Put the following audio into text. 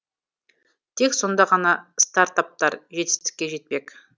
тек сонда ғана стартаптар жетістікке жетпек